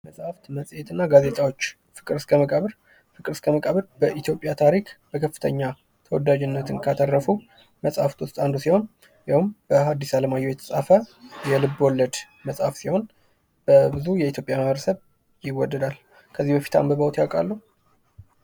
መጻሕፍት መጽሄትና ጋዜጦች ፍቅር እስከ መቃብር ፍቅር እስከ መቃብር በኢትዮጵያ ታሪክ በከፍተኛ ተወዳጅነትን ካተረፉ መጻሕፍት ውስጥ አንዱ ሲሆን፤ ይኸውም በሃዲስ አለማየሁ የተጻፈ የልብ ወለድ መጽሐፍ ሲሆን፤ በብዙ የኢትዮጵያ ማህበረሰብ ይወዳል። ከዚህ በፊት አንብበውት ያውቃሉ?